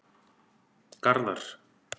Garðar